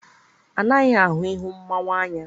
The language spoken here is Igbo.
A naghị ahụ ihu mmanwụ anya.